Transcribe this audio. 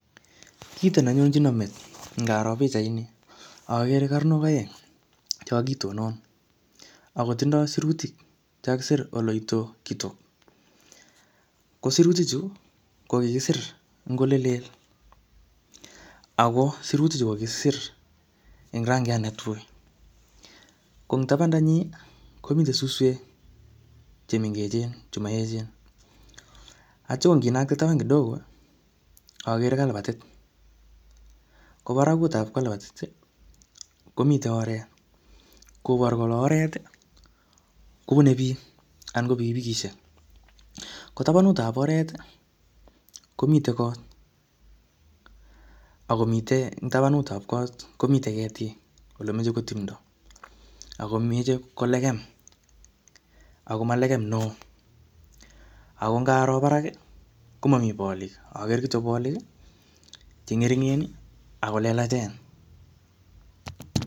Kito ne nyonchino met, ngaro pichait ni, agere karnok aeng che kakitonon, akotindoi sirutik che kakisir oloitokitok. Ko sirutik chu, ko kikisir ing' ole lel. Ako sirutik chu ko kikisir ing' rangiat ne tui. Ko ing tabanda nyi, komite suswek che mengechen, che maechen. Atya ko nginakte taban kidogo, agere kalabatit. Ko barakutab kalbatit, komite oret. Koboru kole oret, kobune biik anan ko pikipikisiek. Ko tabanutab oret, komite kot. Akomite eng' tabanutab kot, komitei ketik ole mechei ko timdo. Akomeche ko lekem, akoma lekem neoo. Ako ngaro barak, komomi bolik, agere kityo bolik che ng'eringen, ako lelachen.